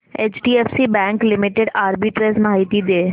HDFC bank limited arbitrage माहिती दे